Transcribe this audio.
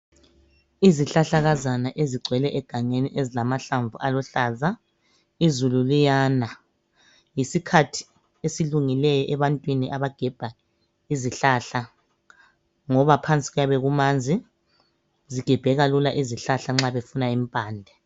Izihlahlakazana ezigcwele egangeni ezilamahlamvu aluhlaza izulu liyana yisikhathi esilungileyo ebantwini abagebha izihlahla ngoba phansi kuyabe kumanzi zigebheka lula izihlahla nxa befuna impande.